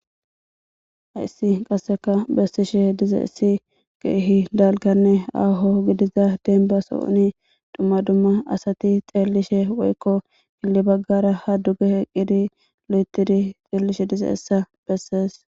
Hayissi qasseka bessishe dize issi keehi dalkanne aaho gidiza denbaso7uni dhumma dumma asati xeellishe woykko gilli baggara ha duge heqqidi lo7etidi xeellishe dize essa bessees.